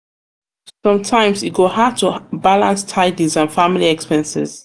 sometimes e go hard to balance tidis and family expenses.